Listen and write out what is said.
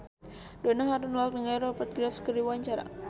Donna Harun olohok ningali Rupert Graves keur diwawancara